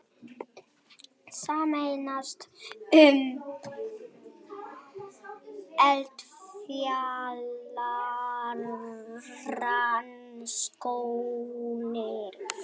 Sameinast um eldfjallarannsóknir